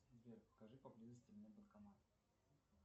сбер покажи поблизости мне банкомат